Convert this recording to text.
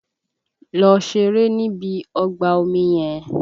Lọ ṣeré níbi ọgbà omi yẹn!